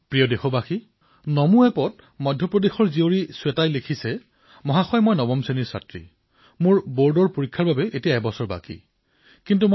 মোৰ মৰমৰ দেশবাসীসকল নমো এপত মধ্যপ্ৰদেশৰ পৰা শ্বেতাই লিখিছে মহাশয় মই নৱম শ্ৰেণীত পঢ়ো আৰু মোৰ বৰ্ডৰ পৰীক্ষালৈ এবছৰ সময় আছে